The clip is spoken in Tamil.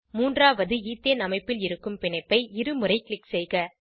மூன்றாவது ஈத்தேன் அமைப்பில் இருக்கும் பிணைப்பை இரு முறை க்ளிக் செய்க